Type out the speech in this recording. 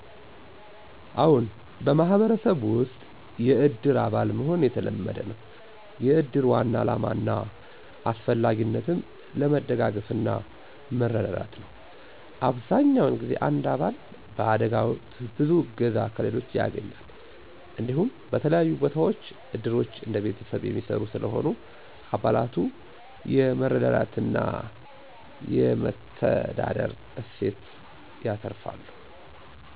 አዎን፣ በማህበረሰብ ውስጥ የእድር አባል መሆን የተለመደ ነው። የእድር ዋና ዓላማ እና አስፈላጊነትም ለመደጋገፍና መረዳዳት ነው። አብዛኛውን ጊዜ አንድ አባል በአደጋ ወቅት ብዙ እገዛ ከሌሎች ያገኛል። እንዲሁም፣ በተለያዩ ቦታዎች እድሮች እንደ ቤተሰብ የሚሰሩ ስለሆነ፣ አባላቱ የመረዳትና የመተዳደር እሴት ያተርፋሉ።